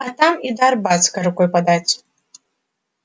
а там и до арбатской рукой подать